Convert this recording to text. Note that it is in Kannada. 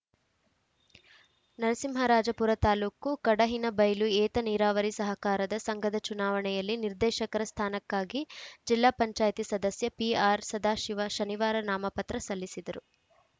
ನರಸಿಂಹರಾಜಪುರ ತಾಲೂಕು ಕಡಹಿನಬೈಲು ಏತ ನೀರಾವರಿ ಸಹಕಾರ ಸಂಘದ ಚುನಾವಣೆಯಲ್ಲಿ ನಿರ್ದೇಶಕರ ಸ್ಥಾನಕ್ಕಾಗಿ ಜಿಲ್ಲಾ ಪಂಚಾಯತಿ ಸದಸ್ಯ ಪಿಆರ್‌ ಸದಾಶಿವ ಶನಿವಾರ ನಾಮಪತ್ರ ಸಲ್ಲಿಸಿದರು